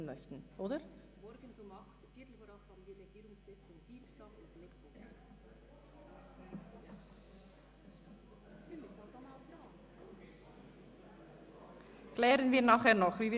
Es geht um eine zusätzliche Abendsitzung am Montag, von 17.00 bis 20.00 Uhr, oder von 17.00 bis 19.00 Uhr.